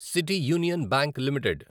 city union bank limited